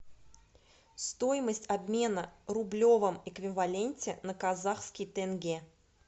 стоимость обмена в рублевом эквиваленте на казахский тенге